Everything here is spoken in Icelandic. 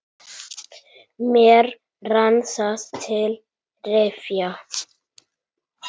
Mér rann það til rifja.